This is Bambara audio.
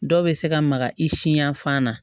Dɔw bɛ se ka maga i siyan fan na